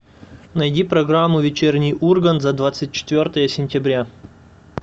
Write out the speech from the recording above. найди программу вечерний ургант за двадцать четвертое сентября